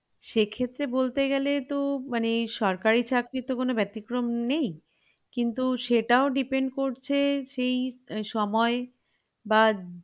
সেক্ষত্রে বলতে গেলে তো মানে সরকারি চাকরি তো কোনো বেতিক্রম নেই কিন্তু সেটাও depend করছে সেই সময় বা